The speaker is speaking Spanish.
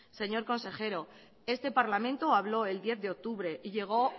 señor consejero este parlamento habló el diez de octubre y llegó